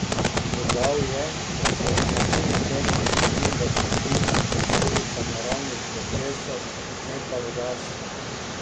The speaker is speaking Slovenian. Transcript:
Dodal je, da so usedline težkih kovin v plitvinah posledica naravnih procesov ne pa rudarstva.